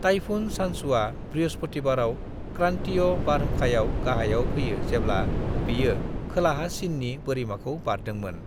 Typhoon चान्चुआ बृहसपुतिबाराव क्रान्तिय बारहुंखायाव गाहायाव फैयो जेब्ला बेयो खोलाहा चिननि बोरिमाखौ बारदोंमोन।